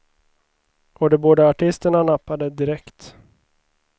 Och de båda artisterna nappade direkt.